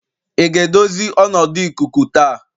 ị ga-edozi ọnọdụ ikuku taa?